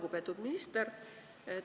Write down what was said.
Lugupeetud minister!